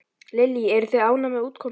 Lillý: Eruð þið ánægð með útkomuna?